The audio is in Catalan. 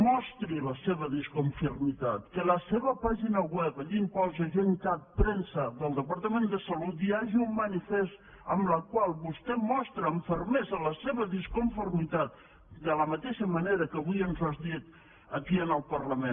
mostri hi la seva disconformitat que a la seva pàgina web allí on posa gencat premsa del departament de salut hi hagi un manifest amb el qual vostè hi mostri amb fermesa la seva disconformitat de la mateixa manera que avui ens ho ha dit aquí al parlament